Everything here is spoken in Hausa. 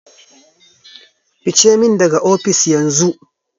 Fice min daga ofis, yanzu!